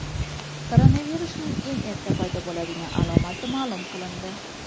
Koronavirusning eng erta paydo bo‘ladigan alomati ma’lum qilindi.